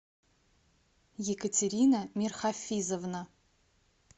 екатерина мирхафизовна